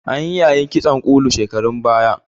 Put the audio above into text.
Anyi yayin kitson ƙulu shekarun baya.